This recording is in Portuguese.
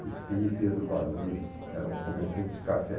Crispim e Pedro Basile, eram comerciantes de café.